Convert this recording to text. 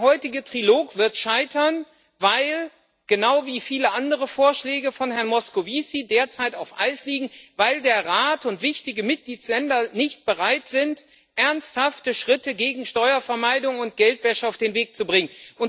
Der heutige Trilog wird scheitern genau wie viele andere Vorschläge von Herrn Moscovici derzeit auf Eis liegen weil der Rat und wichtige Mitgliedstaaten nicht bereit sind, ernsthafte Schritte gegen Steuervermeidung und Geldwäsche auf den Weg zu bringen.